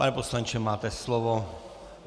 Pane poslanče, máte slovo.